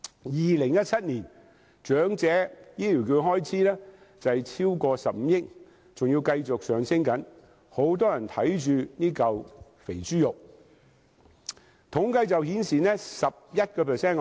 2017年，長者醫療券開支超過15億元，而且繼續上升，很多人對這塊"肥豬肉"虎視眈眈。